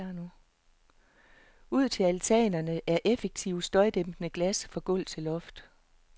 Ud til altanerne er effektivt støjdæmpende glas fra gulv til loft.